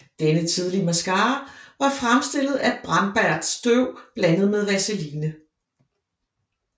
Denne tidlige mascara var fremstillet af brændbart støv blandet med vaseline